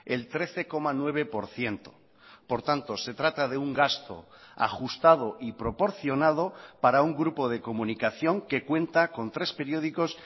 el trece coma nueve por ciento por tanto se trata de un gasto ajustado y proporcionado para un grupo de comunicación que cuenta con tres periódicos